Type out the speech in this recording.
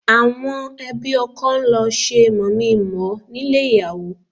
Àwọn ẹbí ọkọ ń lọ ṣe mọ̀mí-n-mọ̀-ọ́ nílé ìyàwó